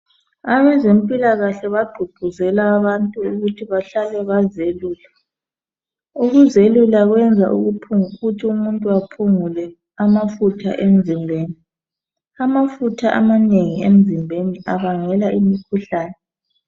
Abezempilakahle bagqugquzela abantu ukuthi bahlale bazelula. Ukuzelula kwenza ukuthi umuntu aphungule amafutha emzimbeni. Amafutha amanengi emzimbeni abangela imikhuhlane.